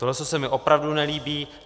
Toto se mi opravdu nelíbí.